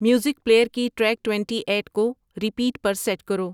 music player کی track twenty eight کو repeat پر سیٹ کرو